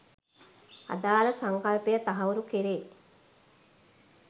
අදාළ සංකල්පය තහවුරු කෙරෙ